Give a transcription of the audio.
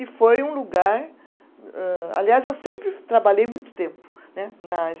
E foi um lugar, âh, aliás, eu sempre trabalhei muito tempo né nas.